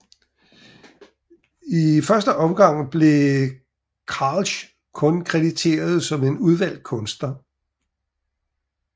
I første omgang blev Kralj kun krediteret som en udvalgt kunstner